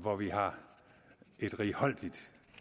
hvor vi har et righoldigt